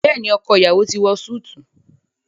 Béèni ọkọ iyawo ti wọ Súìti.